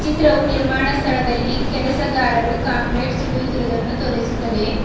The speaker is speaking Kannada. ಚಿತ್ರವು ನಿರ್ಮಾಣ ಸ್ಥಳದಲ್ಲಿ ಕೆಲಸಗಾರರು ಕಾಂಕ್ರೀಟ್ ಸುರಿಯುತ್ತಿರುವುದನ್ನು ತೋರಿಸುತ್ತದೆ.